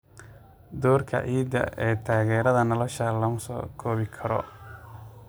Doorka ciidda ee taageerada nolosha lama soo koobi karo.